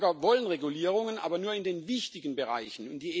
Die Bürger wollen Regulierungen, aber nur in den wichtigen Bereichen.